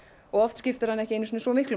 oft skiptir hann ekki einu sinni svo miklu